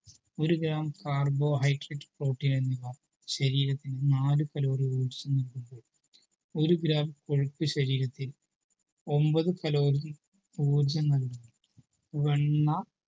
ഒരു gramcarbohydrateprotein എന്നിവ ശരീരത്തിന് നാലു calorie ഊർജ്ജം നൽകുമ്പോൾ ഒരു gram കൊഴുപ്പ് ശരീരത്തിന് ഒമ്പത് calorie ഊർജ്ജം നൽകുന്നു വെണ്ണ